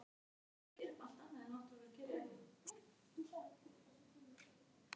Gengur illa að stjórna leikjum sem má sjá á árangri liðsins á heimavelli í fyrra.